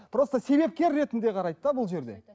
просто себепкер ретінде қарайды да бұл жерде